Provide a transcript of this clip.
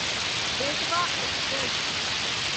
Betwa express